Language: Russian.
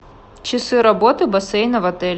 часы работы бассейна в отеле